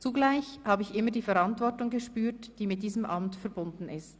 Zugleich habe ich immer die Verantwortung gespürt, die mit diesem Amt verbunden ist.